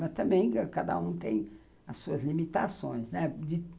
Mas também cada um tem as suas limitações, né?